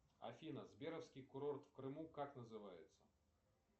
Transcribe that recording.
афина сберовский курорт в крыму как называется